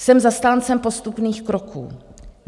Jsem zastáncem postupných kroků.